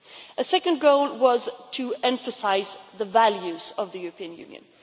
A second goal was to emphasise the values of the European Union.